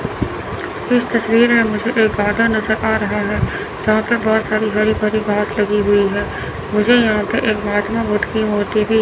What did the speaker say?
इस तस्वीर में मुझे एक गार्डन नज़र आ रहा है जहां पर बहुत सारी हरी भरी घास लगी हुई है मुझे यहां पर एक महात्मा बुद्व की एक मूर्ती भी --